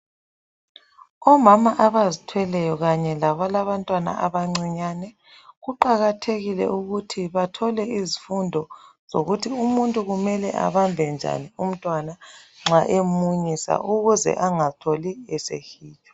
Omama abazithweleyo kanye labalabantwana abancinyane, kuqakathekile ukuthi bathole izifundo zokuthi umuntu kumele abambe njani umtwana nxa emunyisa ukuze angatholi esehitshwa.